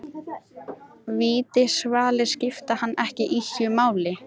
Vítiskvalir skipta hann ekki ýkja miklu.